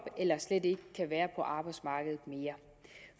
eller slet ikke kan være på arbejdsmarkedet mere